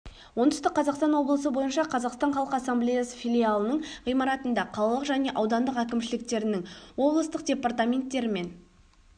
оңтүстік қазақстан облысы бойынша қазақстан халқы ассамблеясы филиалының ғимаратында қалалық және аудандық әкімшіліктерінің облыстық департаменттері мен